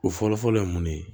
O fɔlɔfɔlɔ ye mun ye